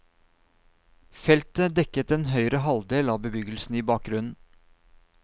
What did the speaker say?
Feltet dekket den høyre halvdel av bebyggelsen i bakgrunnen.